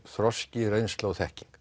þroski reynsla og þekking